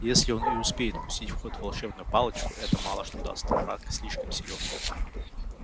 если он и успеет пустить в ход волшебную палочку это мало что даст враг слишком силен